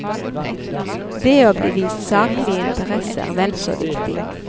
Det å bli vist saklig interesse er vel så viktig.